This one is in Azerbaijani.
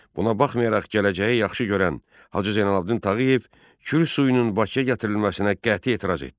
Buna baxmayaraq gələcəyi yaxşı görən Hacı Zeynalabdin Tağıyev Kür suyunun Bakıya gətirilməsinə qəti etiraz etdi.